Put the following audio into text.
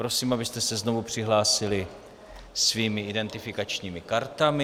Prosím, abyste se znovu přihlásili svými identifikačními kartami.